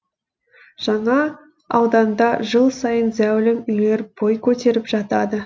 жаңа ауданда жыл сайын зәулім үйлер бой көтеріп жатады